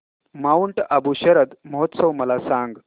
Mount Abu शरद महोत्सव मला सांग